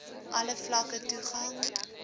alle vlakke toegang